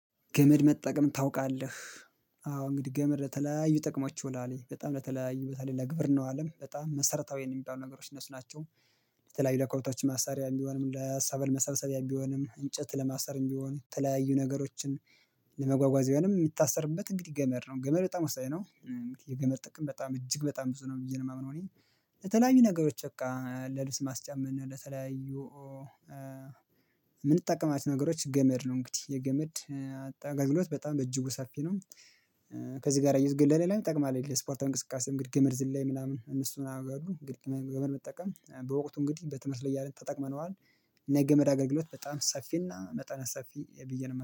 ገመድ መጠቀም ታውቃለህ? አዎ እንግዲህ ገመድ ለተለያዩ ጥቅሞች ይውላሉ በጣም ለተለያዩ በተለይ ለግብር ነው አለም በጣም መሰረታዊ የሚባሉ ነገሮች እነሱ ናቸው። በተለይ ለከብቶች ማሰሪያ የሚሆንም ለሀሳብ መሰብሰቢያ የሚሆንም እንጨት ለማሰር እንግዲህ ተለያዩ ነገሮችን ለመጓጓዝ የሆነ የምታሰርበት እንግዲህ ገመድ ነው ገመድ በጣም ወሳኝ ነው። የገመድ ጥቅም በጣም እጅግ በጣም ብዙ ነው የማየው ነው የማምነው እኔ በተለያዩ ነገሮች በቃ ለልብስ ማስጫመን ለተለያዩ የምንጠቀማች ነገሮች ገመድ ነው እንግዲህ የገመድ አጠገብነው በጣም በእጅጉ ሰፊ ነው። ከዚህ ጋር እየዝገብኩኝ ለሌላ ይጠቅማል የስፖርተን እንቅስቃሴ ገመድ ዝላይ ምናምን እነሱን አገላሉ። ገመድ መጠቀም በወቅቱ እንግዲህ በትምህርት ላይ እያለ ተጠቅመነዋል። ነገመድ አገልግሎት በጣም ሰፊና መጠን ሰፊ የብዬ